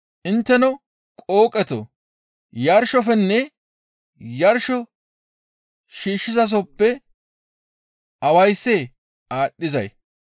Intteno qooqetoo! Yarshofenne yarsho shiishshizasoppe awayssee aadhdhizay?